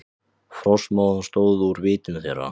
Frostmóðan stóð úr vitum þeirra.